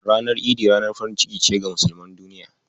Ranar Idi ranar farin ciki ce ga musulman duniya.